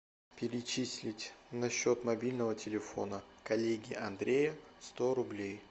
перечислить на счет мобильного телефона коллеги андрея сто рублей